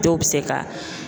Dɔw bɛ se ka